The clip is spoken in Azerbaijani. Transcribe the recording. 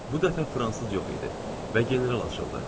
Bu dəfə fransız yox idi və general açıldı.